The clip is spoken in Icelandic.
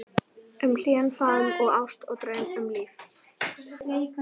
Um hlýjan faðm og ást og draum, um líf